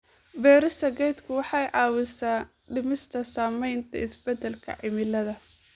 Beerista geedku waxay caawisaa dhimista saamaynta isbeddelka cimilada.